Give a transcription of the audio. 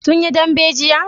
sun yi dambe jiya?